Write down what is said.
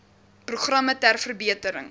programme ter verbetering